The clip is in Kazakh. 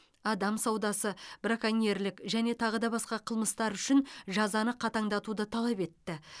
адам саудасы браконьерлік және тағы да басқа қылмыстар үшін жазаны қатаңдатуды талап етті